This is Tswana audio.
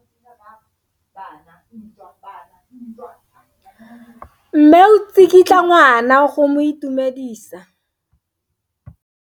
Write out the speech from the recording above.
Mme o tsikitla ngwana go mo itumedisa.